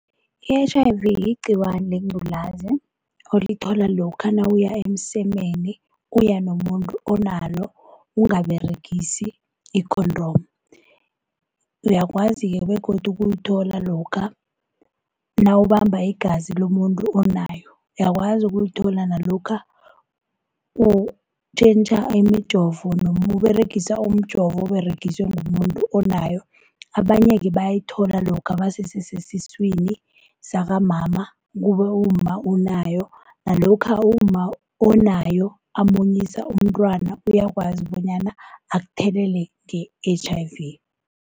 I-H_I_V yigciwane lengculazi olithola lokha nawuya emsemeni uya nomuntu onalo ungaberegisi i-condom. Uyakwazi-ke begodu ukuyithola lokha nawubamba igazi lomuntu onayo. Uyakwazi ukuyithola nalokha utjhentjha imijovo noma uberegisa umjovo oberegiswe mumuntu onayo. Abanye-ke bayayithola lokha basese sesiswini sakamama kube umma unayo, nalokha umma onayo amunyisa umntwana uyakwazi bonyana akuthelele nge-H_I_V.